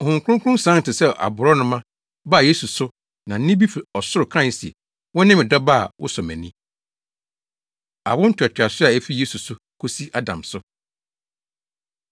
Honhom Kronkron sian te sɛ aborɔnoma baa Yesu so na nne bi fi ɔsoro kae se, “Wone me Dɔba a wosɔ mʼani.” Awo Ntoatoaso A Efi Yesu So Kosi Adam So